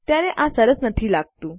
ત્યારે આ સરસ નથી લાગતું